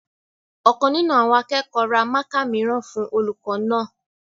Ọ̀kan nínú àwọn akẹ́kọ̀ọ́ ra mákà mìíràn fún olùkọ́ náà